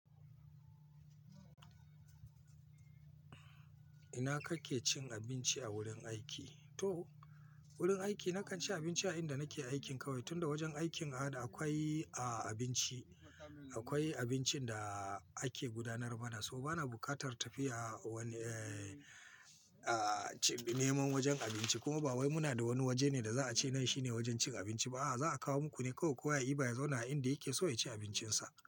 Ina kake cin abinci a wurin aiki? To, wurin aiki nakan ci abinci a inda nake aikin kawai. Tunda wajen aikin a da akwai, a, abinci. Akwai abincin da ake gudanar mana saboda bana bukatar tafiya wani, eh, a, neman wajen abinci. Kuma ba wai muna da wani waje ne da za a ce nai shine wajen cin abinci ba. A'a, za a kawo muku ne kawai. Kowa ya yi baya zauna a inda yake so ya ci abincinsa.